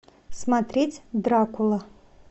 смотреть дракула